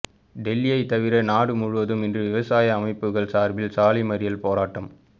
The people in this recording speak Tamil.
டெல்லியை தவிர நாடு முழுவதும் இன்று விவசாய அமைப்புகள் சார்பில் சாலை மறியல் போராட்டம்